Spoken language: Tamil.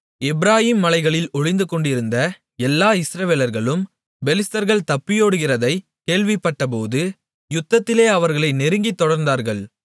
எப்பிராயீம் மலைகளில் ஒளிந்துகொண்டிருந்த எல்லா இஸ்ரவேலர்களும் பெலிஸ்தர்கள் தப்பியோடுகிறதைக் கேள்விப்பட்டபோது யுத்தத்திலே அவர்களை நெருங்கித் தொடர்ந்தார்கள்